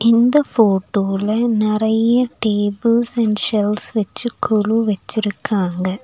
இந்த ஃபோட்டோல நறைய டேபிள்ஸ் அண்ட் சேர்ஸ் வச்சு கொலு வெச்சிருக்காங்க.